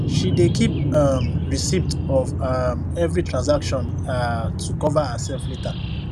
she dey keep um receipt of um every transaction um to cover herself later